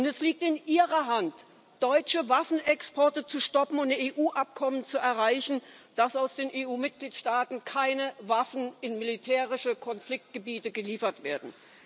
Es liegt in Ihrer Hand, deutsche Waffenexporte zu stoppen und EU Abkommen zu erreichen, damit aus den EU Mitgliedstaaten keine Waffen in militärische Konfliktgebiete geliefert werden.